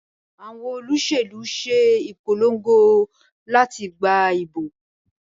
Àwọn Olóṣèlú ṣe ìpolongo láti gbà ìbò